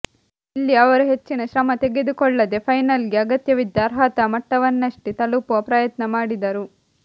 ಇಲ್ಲಿ ಅವರು ಹೆಚ್ಚಿನ ಶ್ರಮ ತೆಗೆದುಕೊಳ್ಳದೇ ಫೈನಲ್ಗೆ ಅಗತ್ಯವಿದ್ದ ಅರ್ಹತಾ ಮಟ್ಟವನ್ನಷ್ಟೇ ತಲುಪುವ ಪ್ರಯತ್ನ ಮಾಡಿದರು